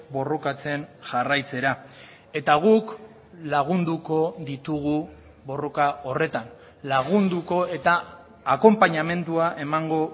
borrokatzen jarraitzera eta guk lagunduko ditugu borroka horretan lagunduko eta akonpainamendua emango